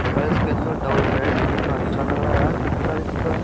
और यार इसके अंदर डबल बेड कितना अच्छा लग रहा है यार बिस्तर इस पे ।